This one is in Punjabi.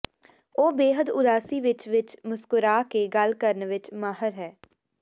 ਉਹ ਬੇਹੱਦ ਉਦਾਸੀ ਵਿੱਚ ਵਿਚ ਵੀ ਮੁਸਕਰਾ ਕੇ ਗੱਲ ਕਰਨ ਵਿੱਚ ਮਾਹਿਰ ਹੈ